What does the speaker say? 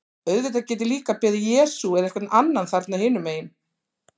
Auðvitað get ég líka beðið Jesú eða einhvern annan þarna hinum megin.